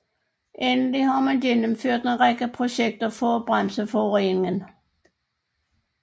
Endelig har man gennemført en række projekter for at bremse forureningen